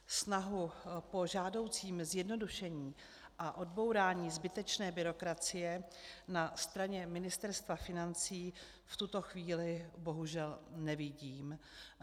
Snahu po žádoucím zjednodušení a odbourání zbytečné byrokracie na straně Ministerstva financí v tuto chvíli bohužel nevidím.